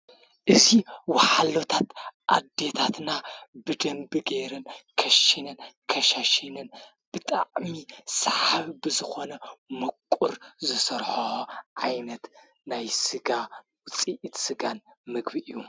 እዚ ወሓለታት ኣዲታትና ብደንቢ ጌይርን ከሽን ከሽን ብጣዕሚ ሰሓቢ ብዝኾነ መቊር ዝሠርሖ ዓይነት ናይ ሥጋ ውፂኢት ሥጋን መግቢ እዩ።